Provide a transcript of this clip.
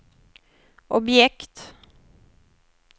objekt